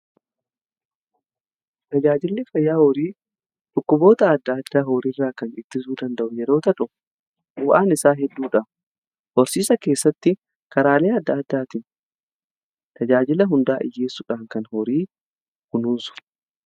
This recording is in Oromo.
tajaajilli fayyaa horii dhukkuboota adda addaa horii irraa kan ittisuu danda'u yeroota ta'u bu'aan isaa hedduudha horsiisa keessatti karaalee adda addaatiin tajaajila hundaa dhiyyeessuudhaa kan horii kunuunsudhaa